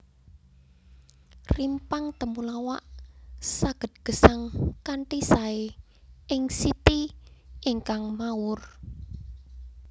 Rimpang temulawak saged gesang kanthi saé ing siti ingkang mawur